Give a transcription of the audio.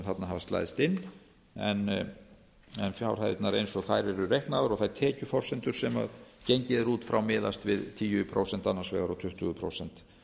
hafa slæðst inn en fjárhæðirnar eins og þær eru reiknaðar og þær tekjuforsendur sem gengið er út frá miðast við tíu prósent annars vegar og tuttugu prósent